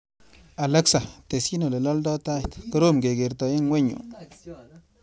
Alexa, tesyi olelaldai tait, korom kekerta eng ng'weny yu.